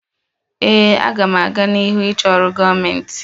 Ee, m ga-aga n'ihu na-achọ ọrụ gọọmentị.